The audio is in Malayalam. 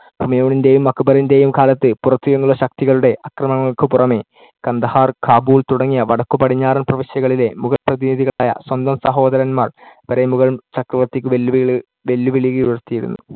ഹുമയൂണിന്‍ടെയും അക്ബറിന്‍ടെയും കാലത്ത് പുറത്തു നിന്നുള്ള ശക്തികളുടെ അക്രമണങ്ങൾക്കു പുറമേ കന്ദഹാർ, കാബൂൾ തുടങ്ങിയ വടക്കുപടിഞ്ഞാറൻ പ്രവിശ്യകളിലെ മുഗൾ പ്രതിനിധികളായ സ്വന്തം സഹോദരന്മാർ വരെ മുഗൾ ചക്രവർത്തിക്ക് വെല്ലുവിളി~ വെല്ലുവിളികൾ ഉയർത്തിയിരുന്നു.